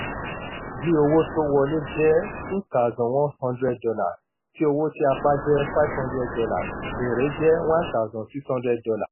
bí owó tó wọlé jẹ́ two thousand one hundred dollars tí owó tí a pa jẹ́ five hundred dollars èrè jẹ́ one thousand six hundred dollars